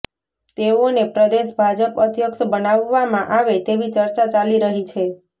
તેઓને પ્રદેશ ભાજપ અધ્યક્ષ બનાવવામાં આવે તેવી ચર્ચા ચાલી રહી છે